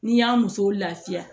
N'i y'a muso lafiya